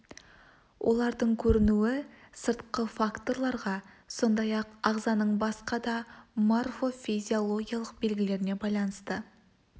олардың көрінуі сыртқы факторларға сондай-ақ ағзаның басқа да морфофизиологиялық белгілеріне байланысты